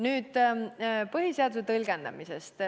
Nüüd põhiseaduse tõlgendamisest.